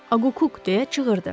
Aqquk, deyə çığırdı.